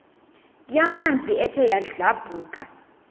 yamanzi ethe yadlabhuka